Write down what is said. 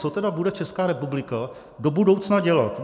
Co tedy bude Česká republika do budoucna dělat?